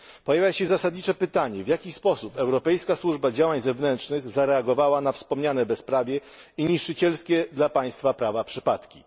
Pojawia się zasadnicze pytanie, w jaki sposób Europejska Służba Działań Zewnętrznych zareagowała na wspomniane bezprawie i niszczycielskie dla państwa prawa przypadki.